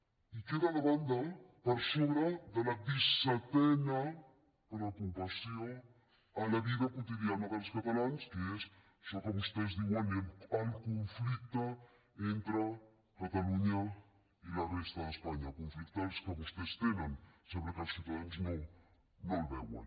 i queda de banda per sobre de la dissetena preocupació a la vida quotidiana dels catalans que és això que vostès en diuen el conflicte entre catalunya i la resta d’espanya conflicte el que vostès tenen sembla que els ciutadans no el veuen